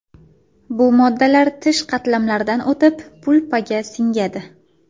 Bu moddalar tish qatlamlaridan o‘tib, pulpaga singadi.